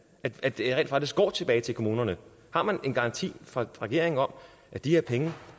at de rent faktisk går tilbage til kommunerne har man en garanti fra regeringen om at de her penge